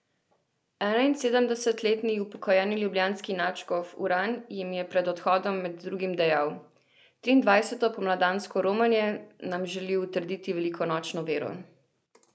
Enainsedemdesetletni upokojeni ljubljanski nadškof Uran jim je pred odhodom med drugim dejal: 'Triindvajseto pomladansko romanje nam želi utrditi velikonočno vero.